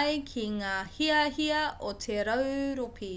ai ki ngā hiahia o te rauropi